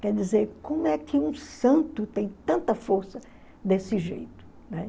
Quer dizer, como é que um santo tem tanta força desse jeito? Né?